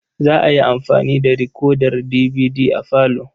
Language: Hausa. Za a yi amfani da rikodar dibidi a falo.